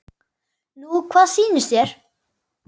Nú hvað sýnist þér.